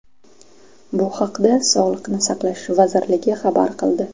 Bu haqda Sog‘lini saqlash vazirligi xabar qildi .